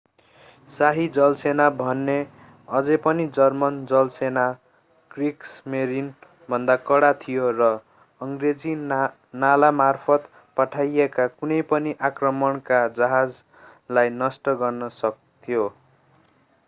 शाही जलसेना भने अझै पनि जर्मन जलसेना क्रिग्समेरिन”भन्दा कडा थियो र अङ्ग्रेजी नालामार्फत पठाइएका कुनै पनि आक्रमणका जहाजलाई नष्ट गर्न सक्थ्यो।